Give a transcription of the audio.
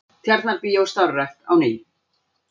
Tjarnarbíó starfrækt á ný